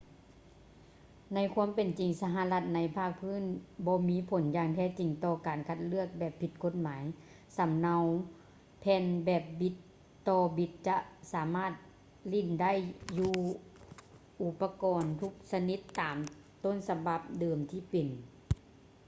ໃນຄວາມເປັນຈິງ ລະຫັດໃນພາກພື້ນບໍ່ມີຜົນຢ່າງແທ້ຈິງຕໍ່ການຄັດລອກແບບຜິດກົດໝາຍ ສຳເນົາແຜ່ນແບບບິດຕໍ່ບິດຈະສາມາດຫຼິ້ນໄດ້ຢູ່ອູປະກອນທຸກຊະນິດຕາມຕົ້ນສະບັບເດີມທີ່ເປັນ